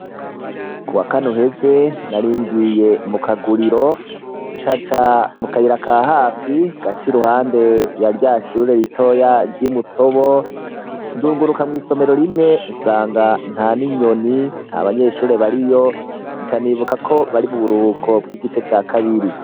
kuwa kanuheze naringiye mu kaguriro ncanca mu kayira ka hafi gaca iruhande ya ryashure ritoya ry'imutobo ndunguruka mw'isomero rimwe nsanga nta n'inyoni nta banyeshuri bariyo nca nibuka ko bari mu buruhuko bw'igice ca kabiri